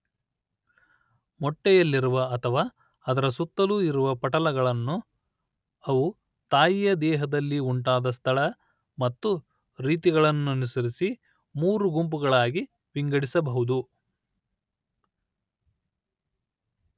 ಮೊಟ್ಟೆಯಲ್ಲಿರುವ ಅಥವಾ ಅದರ ಸುತ್ತಲೂ ಇರುವ ಪಟಲಗಳನ್ನು ಅವು ತಾಯಿಯ ದೇಹದಲ್ಲಿ ಉಂಟಾದ ಸ್ಥಳ ಮತ್ತು ರೀತಿಗಳನ್ನನುಸರಿಸಿ ಮೂರು ಗುಂಪುಗಳಾಗಿ ವಿಂಗಡಿಸಬಹುದು